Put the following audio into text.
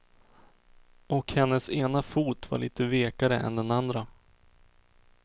Och hennes ena fot var litet vekare än den andra.